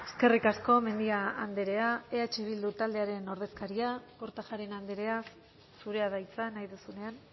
eskerrik asko mendia andrea eh bildu taldearen ordezkaria kortajarena andrea zurea da hitza nahi duzunean